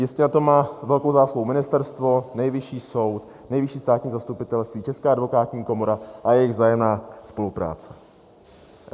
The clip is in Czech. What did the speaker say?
Jistě na tom má velkou zásluhu ministerstvo, Nejvyšší soud, Nejvyšší státní zastupitelství, Česká advokátní komora a jejich vzájemná spolupráce.